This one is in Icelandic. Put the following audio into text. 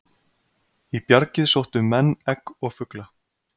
í bjargið sóttu menn egg og fugla